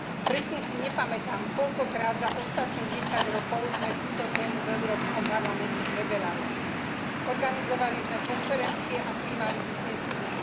Presne si nepamätám, koľkokrát za ostatných desať rokov sme túto tému v Európskom parlamente preberali. Organizovali sme konferencie a prijímali uznesenia.